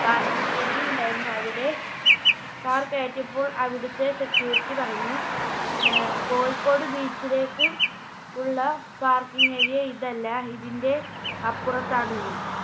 Parking Area ഉണ്ടായിരുന്നു അവിടെ Car കയറ്റിയപ്പോൾ അവിടുത്തെ Security പറഞ്ഞു അഹ് കോഴിക്കോട് Beach ലേക്ക് ഉള്ള Parking Area ഇതല്ല ഇതിന്റെ അപ്പുറത്താണെന്ന്.